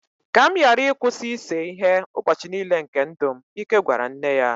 ka m ghara ịkwụsị ịse ihe ụbọchị nile nke ndụ m, Ike gwara nne ya